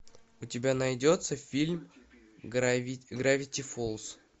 у тебя найдется фильм гравити фолз